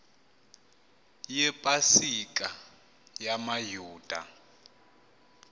yepa sika yamayuda